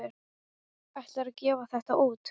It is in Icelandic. Ætlarðu að gefa þetta út?